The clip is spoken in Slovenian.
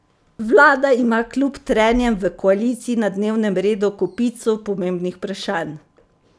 Vlada ima kljub trenjem v koaliciji na dnevnem redu kopico pomembnih vprašanj.